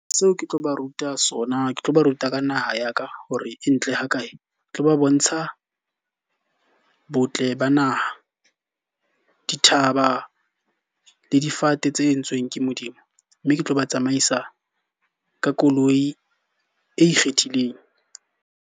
Seo ke tlo ba ruta sona, ke tlo ba ruta ka naha ya ka hore e ntle ho kae. Ke tlo ba bontsha botle ba naha, dithaba, le difate tse entsweng ke Modimo. Mme ke tlo ba tsamaisa ka koloi e ikgethileng.